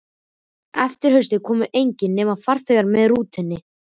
Eftir að haustaði komu engir, nema farþegar með rútunni.